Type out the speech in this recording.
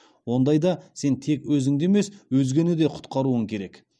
ондайда сен тек өзіңді емес өзгені де құтқаруың керек